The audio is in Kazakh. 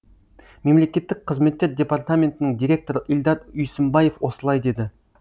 мемлекеттік қызметтер департаментінің директоры ильдар үйсімбаев осылай деді